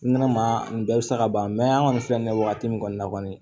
N nana maa bɛɛ bi sa ka ban an kɔni filɛ nin ye wagati min kɔni na kɔni